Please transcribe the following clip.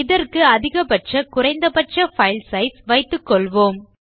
இதற்கு அதிகபட்ச குறைந்த பட்ச பைல் சைஸ் வைத்துக்கொள்ளலாம்